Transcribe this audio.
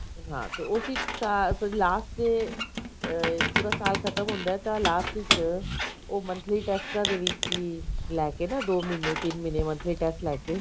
ਹਾਂ ਤੇ ਉਸੀ ਸਾਲ last ਤੇ ਏ ਪਰ ਸਾਲ ਖਤਮ ਹੁੰਦਾ ਤਾਂ last ਵਿਚ ਉਹ monthly ਟੈਸਟਾ ਦੇ ਵਿੱਚ ਹੀ ਲੈਕੇ ਨਾ ਦੋ ਮਹੀਨੇ ਤਿੰਨ ਮਹੀਨੇ monthly test ਲੈਕੇ